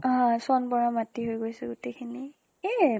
অ চন পৰা মাটি হৈ গৈছে গোটেই খিনি। সেইয়ে